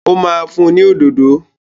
Ó ma fún ni òdòdó